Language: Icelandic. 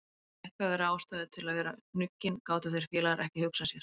Léttvægari ástæðu til að vera hnuggin gátu þeir félagar ekki hugsað sér.